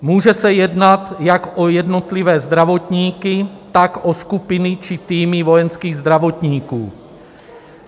Může se jednat jak o jednotlivé zdravotníky, tak o skupiny či týmy vojenských zdravotníků.